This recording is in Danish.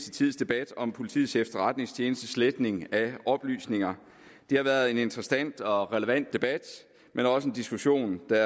tids debat om politiets efterretningstjenestes sletning af oplysninger det har været en interessant og relevant debat men også en diskussion der